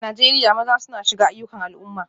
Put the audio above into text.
A Najeriya, maza suna shiga ayyukan al'umma